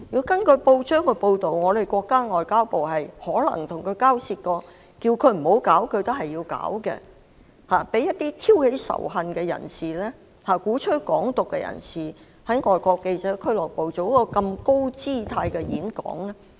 根據報章報道，我們國家的外交部可能曾與他交涉，要求他不要舉辦該場演講，但他堅持舉辦，讓一名挑起仇恨、鼓吹"港獨"的人士在外國記者會作出如此高姿態的演講。